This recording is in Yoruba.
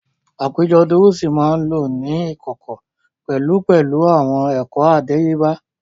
Àpéjọ dúrúsì máa ń lọ ní ìkọ̀kọ̀ pẹ̀lú pẹ̀lú àwọn ẹ̀kọ́ àdáyébá